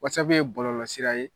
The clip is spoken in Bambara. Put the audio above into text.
Whatsapp ye bɔlɔlɔsira ye